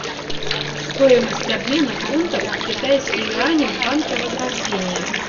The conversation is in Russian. стоимость обмена фунтов в китайские юани в банке возрождение